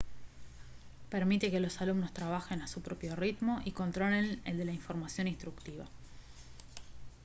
permite que los alumnos trabajen a su propio ritmo y controlen el de la información instructiva